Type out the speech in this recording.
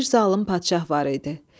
Bir zalım padşah var idi.